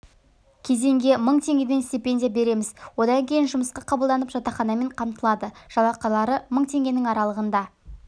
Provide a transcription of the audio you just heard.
кезеңге мың теңгеден стипендия береміз одан кейін жұмысқа қабылданып жатақханамен қамтылады жалақылары мың теңгенің аралығында